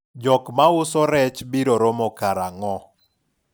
jok mauso rech biro romo karang'o?